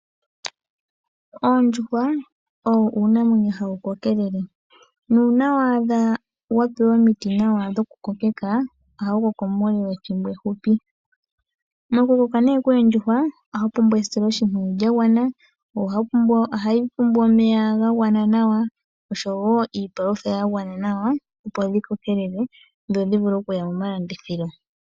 Oondjuhwa owo uunamwenyo ha wu kokelele. Nuuna waadha wa pewa omiti nawa dhokukokeka ohawu koko muule wethimbo ehupi. Mokukoka nee koondjuhwa ohawu pumbwa esiloshimpwiyu lya gwana, wo ohawu pumbwa omeya ga gwana nawa, osho wo iipalutha ya gwana nawa opo dhi kokelele dho dhi vule oku ya momalandithilo.